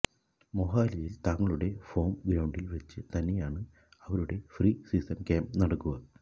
മൊഹാലിയിൽ തങ്ങളുടെ ഹോം ഗ്രൌണ്ടിൽ വെച്ച് തന്നെയാണ് അവരുടെ പ്രീ സീസൺ ക്യാമ്പ് നടക്കുക